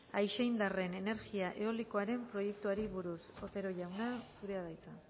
aixeindarren energia eolikoaren proiektuei buruz otero jauna zurea da hitza